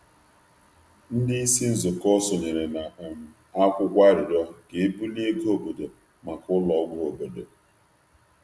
Ndị ndú okpukperechi sonyere na mkpesa iji kwalite ego ọha maka ụlọ ọgwụ ógbè.